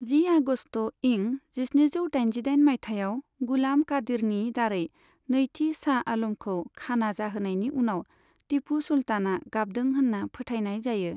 जि आगस्त' इं जिस्निजौ दाइनजिदाइन माइथायाव गुलाम कादिरनि दारै नैथि शाह आलमखौ खाना जाहोनायनि उनाव, तिपु सुल्तानआ गाबदों होन्ना फोथायनाय जायो।